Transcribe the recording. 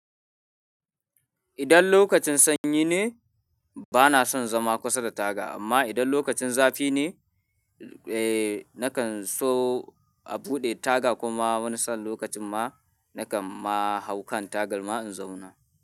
Idan lokacin sanyi ne, bana son zama kusa da taga amma idan lokacin zafi ne, eh nakan so a buɗe taga kuma wani san lokacin ma nakan ma hau kan tagar ma in zauna.